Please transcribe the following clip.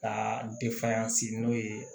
Ka n'o ye